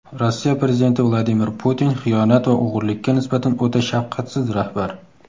Rossiya Prezidenti Vladimir Putin xiyonat va o‘g‘irlikka nisbatan o‘ta shafqatsiz rahbar.